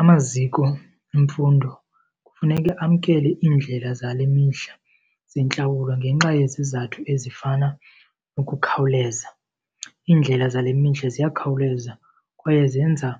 Amaziko emfundo kufuneka amkele iindlela zale mihla zentlawulo ngenxa yezizathu ezifana ukukhawuleza. Iindlela zale mihla ziyakhawuleza kwaye zenza